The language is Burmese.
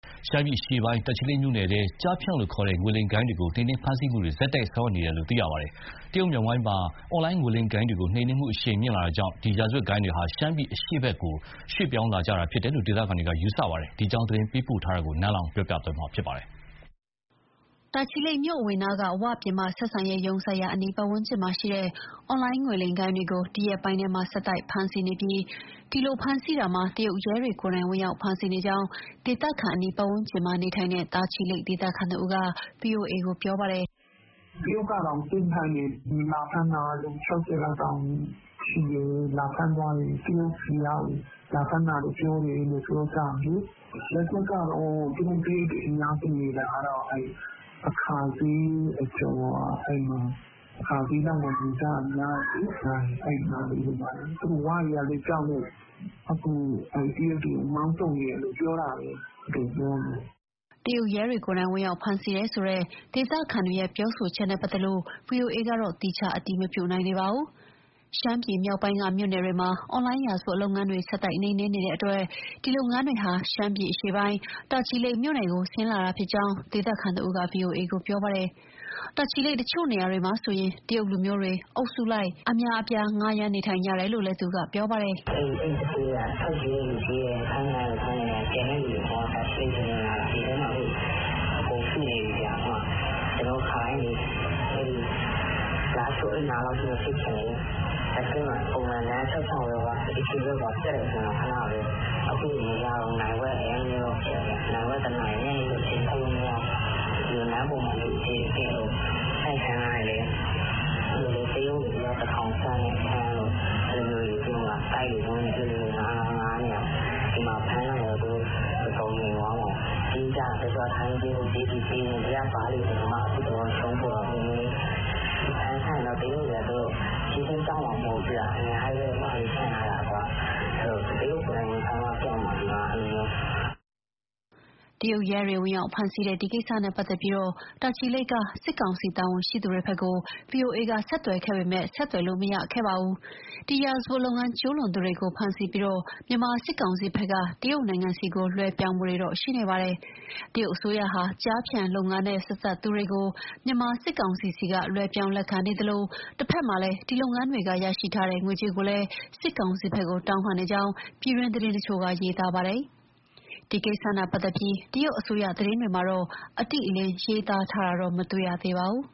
ရှမ်းပြည်နယ်အရှေ့ပိုင်း တာချီလိတ်မြို့နယ်ထဲ ကျားဖြန်လို့ခေါ်တဲ့ ငွေလိမ်ဂိုဏ်းတွေကို နှိမ်နင်းဖမ်းဆီးမှုတွေ ဆက်တိုက်ဆောင်ရွက်နေတယ်လို့ သိရပါတယ်။ တရုတ်မြောက်ပိုင်းမှာ အွန်လိုင်းငွေလိမ်ဂိုဏ်းတွေနှိမ်နင်းမှု အရှိန်မြင့်လာကြောင့် ဒီရာဇဝတ်ဂိုဏ်းတွေဟာ ရှမ်းပြည်အရှေ့ဘက်ကို ရွှေ့ပြောင်းလာကြတာလို့ ဒေသခံတွေက ယူဆပါတယ်။ ဒီအကြောင်းသတင်းပေးပို့တာကို နန်းလောဝ်က တင်ပြပေးထားပါတယ်။ တာချီလိတ်မြို့အဝင်နားမှက 'ဝ' ပြင်ပဆက်ဆံရေးရုံးစိုက်ရာ အနီးပတ်ဝန်းကျင်မှာရှိတဲ့ အွန်လိုင်းငွေလိမ်ဂိုဏ်းတွေကို ဒီရက်ပိုင်းထဲမှာ ဆက်တိုက်ဖမ်းဆီးနေပြီး ဒီလိုဖမ်းဆီးတာမှာ တရုတ်ရဲတွေကိုယ်တိုင် ဝင်ရောက်ဖမ်းဆီးနေကြောင်း ဒေသခံ အနီးပတ်ဝန်းကျင်မှာနေထိုင်တဲ့ တာချီလိတ်ဒေသခံတဦးက ဗွီအိုအေကို ပြောပါတယ်။ "တရုတ်ကတောင် ဆင်းဖမ်းတယ်၊ လာဖမ်းတာ လူ ၆၀လောက်ရှိတယ်၊ လာဖမ်းသွားတယ်။ တရုတ်ပြည်ကကို လာဖမ်းတာလို့ ပြောကြတယ်။ သူတို့တရုတ်တွေ အများဆုံးနေတာကတော့ အာခါစျေးအကျော်က၊ အာခါစျေးလောက်မှာ နေကြတာများတယ်။ သူတို့ 'ဝ' တွေကလည်း ကြောက်လို့ အခု အဲ တရုတ်တွေကို မောင်းထုတ်နေတယ်လို့ ပြောတာပဲ သူတို့ပြောနေတာ။" တရုတ်ရဲတွေကိုယ်တိုင် ဝင်ရောက်ဖမ်းဆီးတယ်ဆိုတဲ့ ဒေသံတွေပြောဆိုချက်နဲ့ပတ်သက်လို့ ဗွီအိုအေကတော့ သီးခြားအတည်မပြုနိုင်သေးပါဘူး။ ရှမ်းပြည်နယ်မြောက်ပိုင်းက မြို့နယ်တွေမှာ အွန်လိုင်းရာဇဝတ်လုပ်ငန်းတွေကို ဆက်တိုက်နှိမ်နင်းနေတဲ့အတွက် ဒီလုပ်ငန်းတွေဟာ ရှမ်းပြည်နယ် အရှေ့ပိုင်း တာချီလိတ်မြို့နယ်ကို ဆင်းလာတာဖြစ်ကြောင်း ဒေသခံတဦးက ဗွီအိုအေကို ပြောပါတယ်။ တာချီလိတ်တချို့နေရာတွေမှာဆိုရင် တရုတ်လူမျိုးတွေ အုပ်စုလိုက် အများအပြား ဌားရမ်းနေထိုင်နေကြတယ်လို့ သူကပြောပါတယ်။ "အဲသူဌေးတွေက ထွက်ပြေးသူ ထွက်ပြေးတယ်၊ ဖမ်းခံရသူ ဖမ်းခံရတယ်၊ ကျန်တဲ့သူတွေက တာချီလိတ်ထဲ အကုန်ဝင်လာတာ။ ဒီထဲမှာ အကုန်စုနေပြီဗျာ။ ကျနော်တို့ လားရှိုး အဲနားလောက်ထိ မဖြစ်ခင်လေ၊ တာချီလိတ်မှာ ပုံမှန်ဖြတ်သွားရင် အေးဆေးပဲ လမ်းကျပ်ရင် ခဏပဲ။ အခုဆိုမရတော့ဘူး နာရီဝက်၊ တနာရီ။ ညနေဆို အပြင်ထွက်လို့ မရတော့ဘူး။ လမ်းပေါ်မှာ လူအပြည့်၊ တိုက်ခန်းငှားရင်လည်း တရုတ်အယောက် ၁,၀၀၀ ဆန့်တဲ့အခန်းတို့ တိုက်တွေ၊ ဝင်းတွေ အဲလိုငှားနေတာ။ ဒီမှာ ဖမ်းလိုက်ရင်တော့ သူတို့ တော်တော်ငြိမ်သွားမှာ။ တချို့က ထိုင်းပြေး ဟိုပြေး သည်ပြေးနဲ့ ။ ဒီက ဘားတွေတောင် အခုတလော အရှုံးပေါ်တယ်။ ဖမ်းရင်တော့ တရုတ်တွေက ချက်ချင်းပျောက်မှာ မဟုတ်ဘူး၊ အများကြီးပဲ။ တရုတ်ကိုယ်တိုင် ဝင်ဖမ်းမှပျောက်မှာ ဒီမှာက။" တရုတ်ရဲတွေ ဝင်ရောက်ဖမ်းဆီးတဲ့ ဒီကိစ္စနဲ့ ပတ်သက်ပြီး တာချီလိတ်က စစ်ကောင်စီ တာဝန်ရှိသူတွေဘက်ကို ဗွီအိုအေက ဆက်သွယ်ခဲ့ပေမဲ့ မရခဲ့ပါဘူး။ ဒီရာဇဝတ်လုပ်ငန်းကျူးလွန်သူတွေကိုဖမ်းဆီးပြီး မြန်မာစစ်ကောင်စီဘက်က တရုတ်နိုင်ငံဘက်ကို လွဲပြောင်းပေးနေပါတယ်။ တရုတ်အစိုးရဟာ ကျားဖြန်လုပ်ငန်းနဲ့ ဆက်စပ်သူတွေကို မြန်မာစစ်ကောင်စီဆီက လွှဲပြောင်း လက်ခံနေသလို တဖက်မှာလည်း ဒီလုပ်ငန်းတွေက ရရှိထားတဲ့ ငွေကြေးကိုလည်း စစ်ကောင်စီဘက်ကို တောင်းခံနေကြောင်း ပြည်တွင်းသတင်းတချို့က ရေးသားပါတယ်။ ဒါနဲ့ပတ်သက်ပြီး တရုတ်အစိုးရ သတင်းတွေမှာတော့ အတိအလင်း ရေးသားထားတာတော့ မတွေ့ရသေးပါဘူး